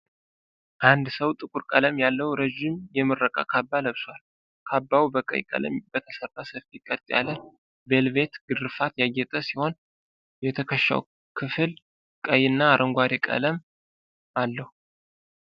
አንድ ሰው ጥቁር ቀለም ያለው ረዥም የምረቃ ካባ ለብሷል። ካባው በቀይ ቀለም በተሠራ ሰፊ ቀጥ ያለ ቬልቬት ግርፋት ያጌጠ ሲሆን፣ የትከሻው ክፍል ቀይና አረንጓዴ ቀለም አለው።